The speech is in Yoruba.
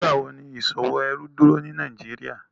Nigbawo ni iṣowo ẹrú duro ni Nàìjíríà?